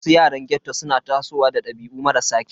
Wasu yaran ghetto suna tasowa da dabi'u marasa kyau.